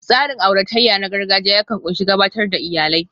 Tsarin auratayya na gargajiya yakan ƙunshi gabatar da iyalai